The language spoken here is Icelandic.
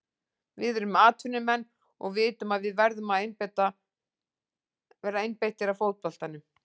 Við erum atvinnumenn og vitum að við verðum að vera einbeittir að fótboltanum.